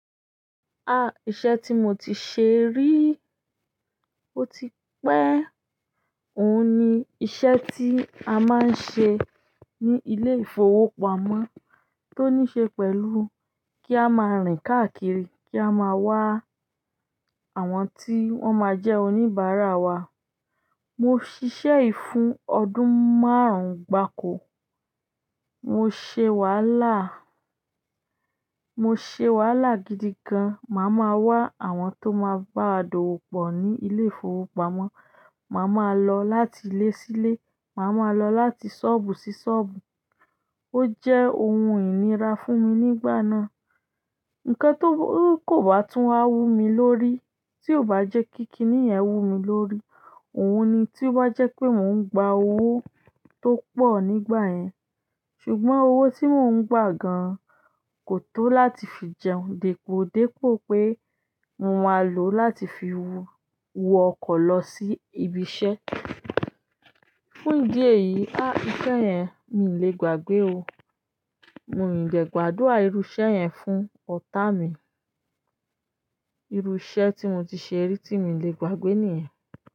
Iṣẹ́ tí mo ti ṣe rí, ó ti pẹ́. Òun ni iṣẹ́ tí a máa ń ṣe ní ilé ìfowópamọ́ tó ní ṣe pẹ̀lú kí a máa rìn káàkiri kí a máa wá àwọn tí wọ́n má jẹ́ oníbàárà wa. Mo ṣiṣẹ́ yi fún ọdún márùn gbáko. Mo ṣe wàhálà, mo ṣe wàhálà gidi gan. Máa má wá àwọn tó máa báwa dọ̀wọ́pọ̀ ni ilé ìfowópamọ́ maa má lọ láti ilé sí ilé, máa má lọ láti ṣọ́ọ̀bù sí ṣọ́ọ̀bù. Ó jẹ́ ohun ìnira fún mi nígbà náà. Ǹkan tí kò bá tún wa wù mi lórí, tí o bá ti jẹ́ kí kíníyẹn wùmí lórí òun ni tó bá jẹ́ pé mo ń gba owó tó pọ̀ ní igbayen ṣùgbọ́n owó tí mo ń gba gan kò tó láti fi jẹun depo depo pé mo máa lọ láti fi wo ọkọ̀ losi ibi iṣẹ́ fun ìdí èyí, ahh iṣẹ́ yẹn mi ò lè gbàgbé o mii de gbàdúrà irú iṣẹ́ yẹn fún ọ̀tá mi irú iṣẹ́ tí mo ti ṣe rí tí mi lè gbàgbé nìyẹn.